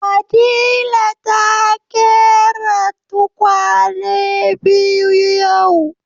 Fadila ta ƙera tukwane biyu yau